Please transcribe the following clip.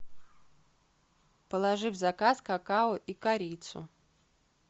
положи в заказ какао и корицу